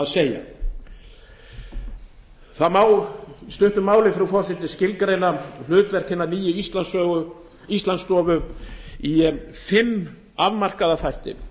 segja það má í stuttu máli frú forseti skilgreina hlutverk hinnar nýju íslandsstofu í fimm afmarkaða þætti